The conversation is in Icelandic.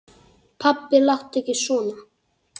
Pabbi láttu ekki svona.